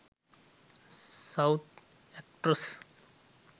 south actress